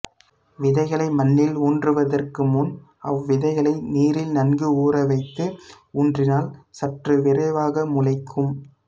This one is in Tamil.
விதைகளை மண்ணில் ஊன்றுவதற்கு முன் அவ் விதைகளை நீரில் நன்கு ஊரவைத்து ஊன்றினால் சற்று விரைவாக முளைக்கும்